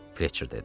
Fletçer dedi.